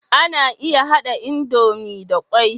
Ana iya hada idomie da kwai